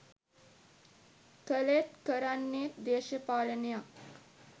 කළේත් කරන්නේත් දේශපාලනයක්..